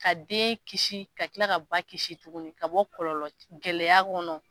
Ka den kisi ka kila ka ba kisi tuguni ka bɔ kɔlɔlɔ gɛlɛya kɔnɔ